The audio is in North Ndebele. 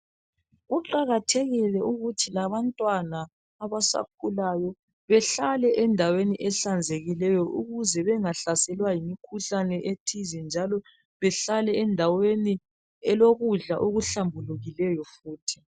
Kuqakathekile ukuthi labantwana abasakhulayo behlale endaweni ehlanzekileyo ukuze bengahlaselwa yimikhuhlane ethize njalo behlale endaweni elokudla okuhlambulukileyo futhi.